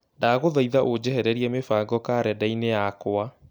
Ndagũthaitha ũnjehererie mĩbango karenda-inĩ yakwa